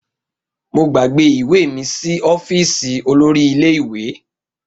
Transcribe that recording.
Mo gbàgbé ìwé mi sí ọ́fíìsì olórí ilé ìwé